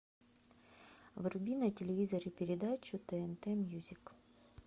вруби на телевизоре передачу тнт мьюзик